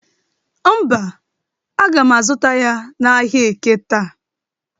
Mba, aga m azụta ya n'ahịa eke taa.